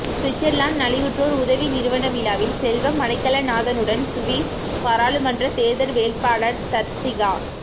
Switzerland நலிவுற்றோர் உதவி நிறுவன விழாவில் செல்வம் அடைக்கலநாதனுடன் சுவிஸ் பாராளுமன்ற தெர்தல்வேட்பாளர் தர்சிகா